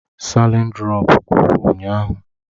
Salịn durọpu gwụrụ ụnyaahụ.